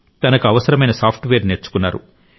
తనకు అవసరమైన సాఫ్ట్వేర్ నేర్చుకున్నారు